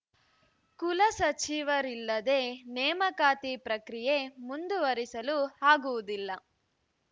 ಕುಲಸಚಿವರಿಲ್ಲದೇ ನೇಮಕಾತಿ ಪ್ರಕ್ರಿಯೆ ಮುಂದುವರಿಸಲು ಆಗುವುದಿಲ್ಲ